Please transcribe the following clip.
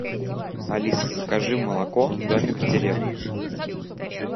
алиса закажи молоко домик в деревне